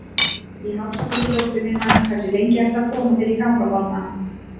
Í hálsakoti dóttur minnar Hversu lengi ertu að koma þér í gang á morgnanna?